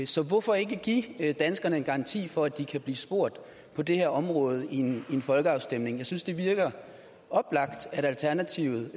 så hvorfor ikke give danskerne en garanti for at de kan blive spurgt på det her område i en folkeafstemning jeg synes det virker oplagt at alternativet